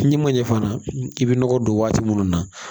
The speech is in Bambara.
N'i ma ɲɛ fana i bɛ nɔgɔ don waati minnu na